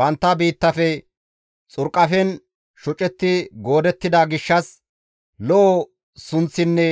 Bantta biittafe xurqafen shocetti goodettida gishshas lo7o sunththinne